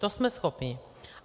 To jsme schopni.